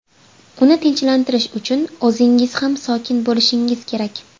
Uni tinchlantirish uchun o‘zingiz ham sokin bo‘lishingiz kerak.